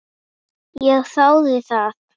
Ég þáði það.